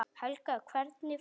Helga: Hvernig fiska?